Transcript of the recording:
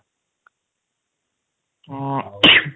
ହଁ